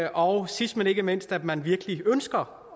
og sidst men ikke mindst at man virkelig ønsker